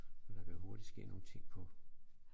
For der kan hurtigt ske nogle ting på